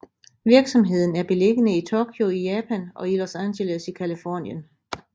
Virksomheden er beliggende i Tokyo i Japan og i Los Angeles i Californien